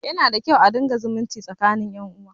Yana da kyau a riƙa zumunci tsakinin ƴan uwa